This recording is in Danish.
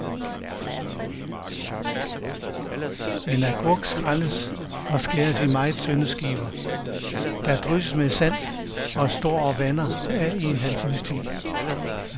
En agurk skrælles og skæres i meget tynde skiver, der drysses med salt og står og vander af i en halv times tid.